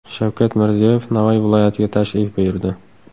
Shavkat Mirziyoyev Navoiy viloyatiga tashrif buyurdi.